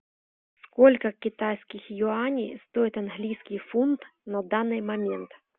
сколько китайских юаней стоит английский фунт на данный момент